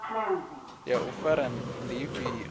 ya u fara ndi ifhio